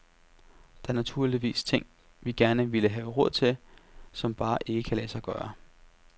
Der er naturligvis ting, vi gerne ville have råd til, som bare ikke kan lade sig gøre.